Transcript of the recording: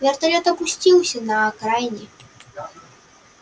вертолёт опустился на окраине